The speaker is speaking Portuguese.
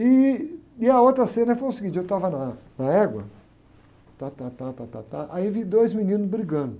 E, e a outra cena foi o seguinte, eu estava na, na égua, tátátá, tátátá, aí vi dois meninos brigando.